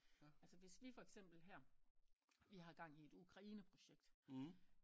Altså hvis vi foreksempel her vi har gang i et ukraineprojekt